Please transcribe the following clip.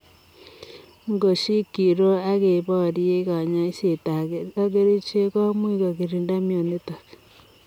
Ngoshikiroo akeparie kanyaiseet ak kerichek komuuch kokirindaa mionitok.